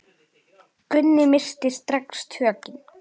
Gunni missti strax tökin.